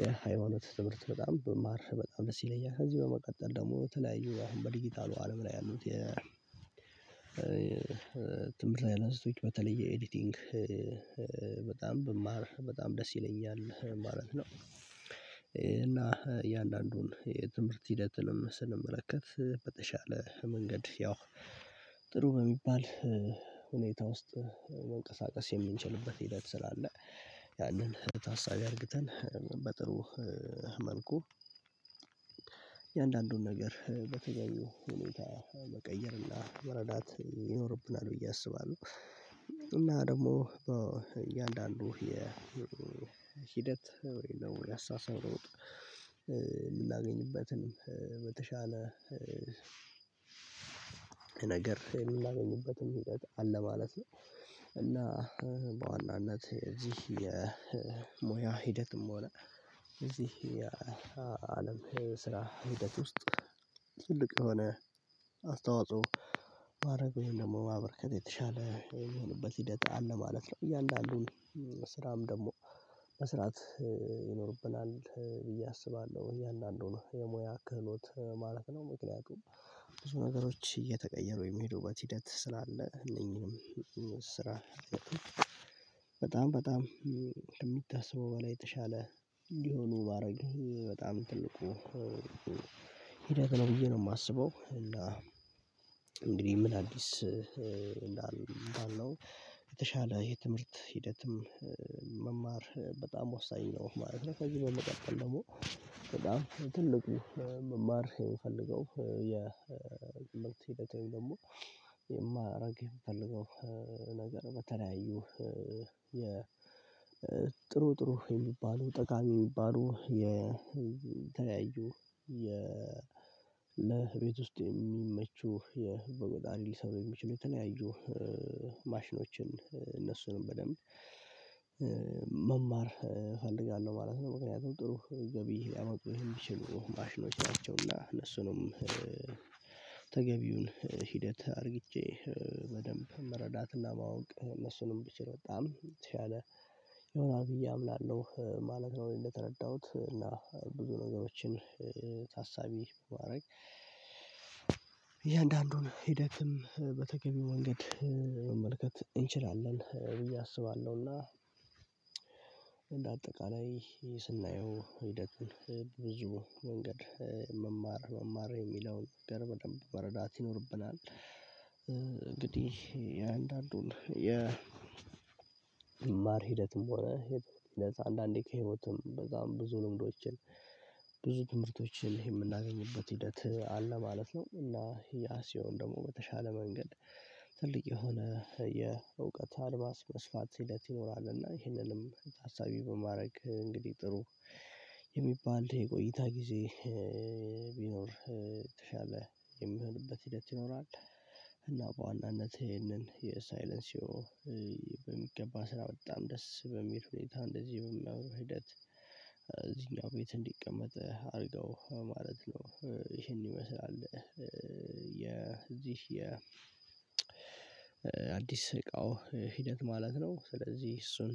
የሃይማኖት ትምህርት በጣም በማር በጣም ደስ ይለኛል። ከዚህ በመቀጠል ደግሞ ተለያዩ አሁን በዲጂታሉ አለም ላይ ያሉት የ የ ትምህርት አይነቶች በተለየ ኤዲቲንግ በጣም ብማር በጣም ደስ ይለኛል ማለት ነው። እና የእያንዳንዱን የትምህርት ሂደትንም ስንመለከት በተሻለ መንገድ ያው ጥሩ በሚባል ሁኔታ ውስጥ መንቀሳቀስ የምንችልበት ሂደት ስላለ ያንን በታሳቢ አድርግተን በጥሩ መልኩ እያንዳንዱን ነገር በተገኙ ሁኔታ መቀየርና መረዳት ይኖርብናል ብዬ አስባለሁ። እና ደግሞ እያንዳንዱ የ የሂደት ወይም ደግሞ ሊያሳስረው የምናገኝበትን በተሻለ ነገር የምናገኝበትም ሂደት አለ ማለት ነው ነው። እና በዋናነት እዚህ የሞያ ሂደትም ሆነ እዚህ የስራ ሂደት ውስጥ ትልቅ የሆነ አስተዋጽኦ ማድረግ ወይም ደግሞ ማበርከት የተሻለ የሆነበት ሂደት አለ ማለት ነው። እያንዳንዱ ስራም ደግሞ መስራት ይኖርብናል ብዬ አስባለሁ። እያንዳንዱ ነው የሙያ ክህሎት ማለት ነው። ምክንያቱም ብዙ ነገሮች እየተቀየሩ የሚሄዱበት ሂደት ስላለ እነኚህንም ስራ በጣም በጣም ከሚታሰበው በላይ የተሻለ እንዲሆኑ ማድረግ በጣም ትልቁ ሂደት ነው ብዬ ነው የማስበው። እና እንግዲህ ምን አዲስ እንዳልነው የተሻለ የትምህርት ሂደትም መማር በጣም ወሳኝ ነው። ከዚህ በመቀጠል ደግሞ በጣም ትልቁ መማር የምፈልገው የምልክት ሂደት ወይም ደግሞ የማራግ የምፈልገው ነገር በተለያዩ የጥሩ ጥሩ የሚባሉ ጠቃሚ የሚባሉ የተለያዩ ለቤት ውስጥ የሚመቹ የበቆጣሪ ጣሪ ሊሰሩ የሚችሉ የተለያዩ ማሽኖችን እነሱንም በደንብ መማር እፈልጋለሁ ማለት ነው። ምክንያቱም ጥሩ ገቢ ሊያመጡ የሚችሉ ማሽኖቻቸው እና እነሱንም ተገቢውን ሂደት አድርግቼ በደንብ መረዳትና ማወቅ እነሱንም ቢችል በጣም የተሻለ ይሆናል ብዬ አምናለሁ ማለት ነው። እንደተረዳሁት እና ብዙ ነገሮችን ታሳቢ ማድረግ የእያንዳንዱን ሂደትም በተገቢው ወንገድ መመልከት እንችላለን ብዬ አስባለሁና። አጠቃላይ ስናየው ሂደቱን ብዙ መንገድ መማር መማር የሚለውን ገረብ ደንብ በረዳት ይኖርብናል። እንግዲህ የአንዳንዱን የ የመማር ሂደትም ሆነ ለዛ አንዳንዴ ከህይወትም በጣም ብዙ ልምዶችን ብዙ ትምህርቶችን የምናገኝበት ሂደት አለ ማለት ነው። እና ያ ሲሆን ደግሞ በተሻለ መንገድ ትልቅ የሆነ የእውቀት አልባስ መስፋት ሲለት ይኖራል። እና ይህንንም ሀሳቢ በማድረግ እንግዲህ ጥሩ የሚባል የቆይታ ጊዜ ቢኖር የተሻለ የሚሆንበት ሂደት ይኖራል። እና በዋናነት ይሄንን የሳይለንሲዮ በሚገባ ስራ በጣም ደስ በሚል ሁኔታ እንደዚህ በሚያወሩ ሂደት እዚህኛው ቤት እንዲቀመጥ አድርገው ማለት ነው። ይሄን ይመስላል። የዚህ የ የ አዲስ እቃው ሂደት ማለት ነው። ስለዚህ እሱን